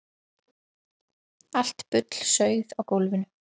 Allt bullsauð á gólfinu.